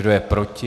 Kdo je proti?